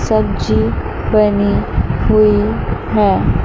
सब्जी बनी हुई है।